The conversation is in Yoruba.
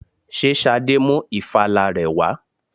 Ṣé Ṣadé mú ìfala rẹ wà?